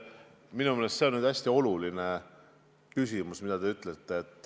Minu meelest see on hästi oluline, mis te ütlesite.